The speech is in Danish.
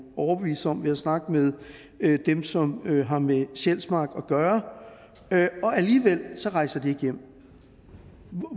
overbevise sig om ved at snakke med dem som har med sjælsmark at gøre og alligevel rejser de ikke hjem